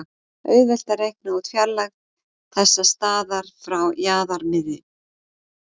auðvelt er að reikna út fjarlægð þessa staðar frá jarðarmiðju